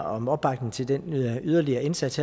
om opbakning til den yderligere indsats